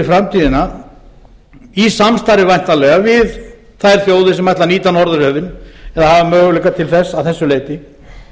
framtíðina í samstarfi væntanlega við þær þjóðir sem ætla að nýta norðurhöfin eða hafa möguleika til þess að þessu leyti